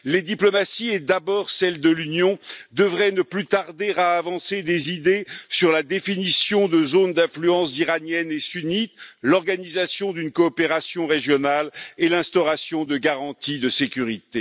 Les diplomaties, et d'abord celles de l'Union, devraient ne plus tarder à avancer des idées sur la définition de zones d'influence iraniennes et sunnites, l'organisation d'une coopération régionale et l'instauration de garanties de sécurité.